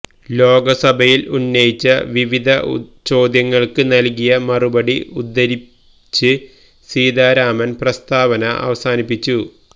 ലോക്സഭയിൽ ഉന്നയിച്ച വിവിധ ചോദ്യങ്ങൾക്ക് നൽകിയ മറുപടികൾ ഉദ്ധരിച്ച് സീതാരാമൻ പ്രസ്താവന അവസാനിപ്പിച്ചു